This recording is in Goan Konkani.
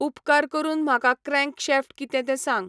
उपकार करून म्हाका क्रँकशॅफ्ट कितें तें सांग